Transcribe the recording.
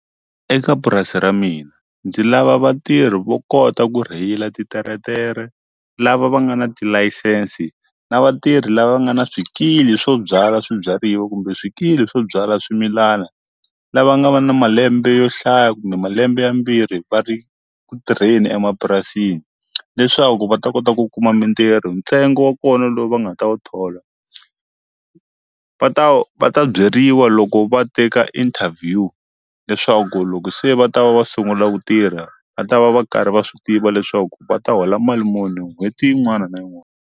Eka purasi ra mina ndzi lava vatirhi vo kota ku rheyila titeretere lava va nga na tilayisensi na vatirhi lava va nga ni swikili swo byala swibyariwa kumbe swikili swo byala swimilana lava nga va na malembe yo hlaya kumbe malembe mambirhi va ri ku tirheni emapurasini leswaku va ta kota ku kuma mintirho ntsengo wa kona lowu va nga ta wu thola va ta va ta byeriwa loko va te ka interview leswaku loko se va ta va va sungula ku tirha va ta va va karhi va swi tiva leswaku va ta hola mali muni n'hweti yin'wana na yin'wana.